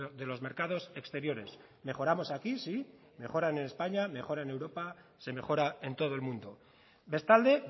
de los mercados exteriores mejoramos aquí sí mejoran en españa mejora en europa se mejora en todo el mundo bestalde